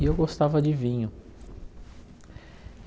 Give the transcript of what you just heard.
E eu gostava de vinho.